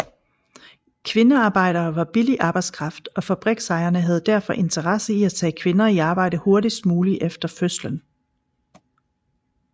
Kvindearbejdere var billig arbejdskraft og fabriksejerne havde derfor interesse i at tage kvinder i arbejde hurtigst muligt efter fødslen